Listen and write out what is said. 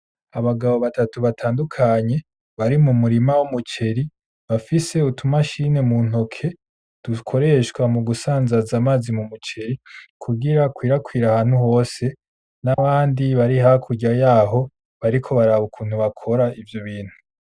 Abagabo batatu batandukanye bari mumurima w'umuceri bafise utu mashine muntoki ,Dukoreshwa mugusanzaza amazi m'umuceri kugira akwirakwire ahantu hose n'abandi bari hakurya yaho bariko baraba ukuntu bakora ivyo bintu.